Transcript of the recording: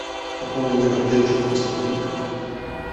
пополни номер дедушки на сто рублей